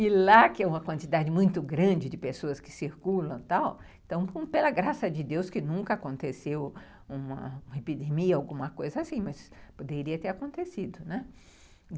E lá, que é uma quantidade muito grande de pessoas que circulam e tal, então, pela graça de Deus, nunca aconteceu uma epidemia, alguma coisa assim, mas poderia ter acontecido.